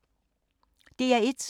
DR1